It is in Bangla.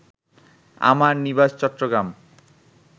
আমার নিবাস চট্টগ্রাম